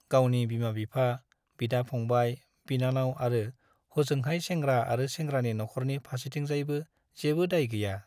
गावनि बिमा - बिफा , बिदा - फंबाय , बिनानाव आरो हजोंहाय सेंग्रा आरो सेंग्रानि नख'रनि फार्सेथिंजायबो जेबो दाय गैया ।